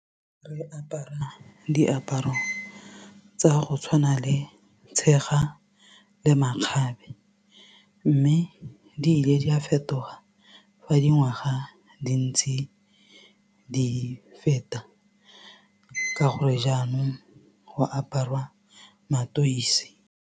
Re apara diaparo tsa go tshwana le tshega le makgabe mme di ile di a fetoga fa dingwaga di ntse di feta ka gore jaanong go aparwa mateise.